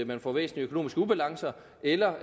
man får væsentlige økonomiske ubalancer eller